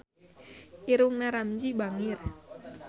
Irungna Ramzy bangir